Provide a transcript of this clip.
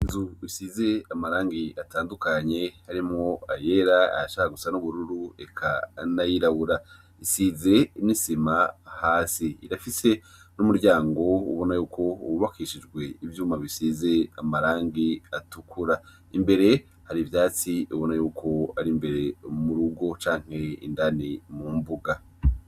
Inzu isize amarangi atandukanye arimwo ayera, ayashaka gusa n'ubururu eka n'ayirabura, isize n'isima hasi, irafise n'umuryango ubona yuko wubakishijwe ivyuma bisize amarangi atukura, imbere hari ivyatsi ubona yuko ari imbere y'urugo canke indani mu mbuga.